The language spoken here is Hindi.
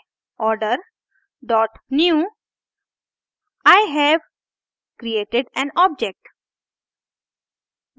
order dot newi have created an object